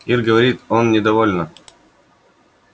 ир говорит он недовольно